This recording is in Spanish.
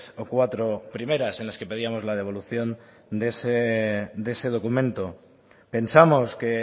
o cuatro primeras en las que pedíamos la devolución de ese documento pensamos que